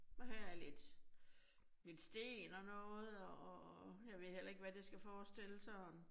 Men her er lidt. Med en sten og noget og og jeg ved heller ikke, hvad det skal forestille sådan